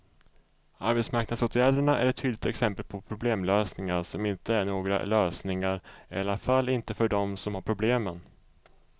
Arbetsmarknadsåtgärderna är ett tydligt exempel på problemlösningar som inte är några lösningar, i alla fall inte för dem som har problemen.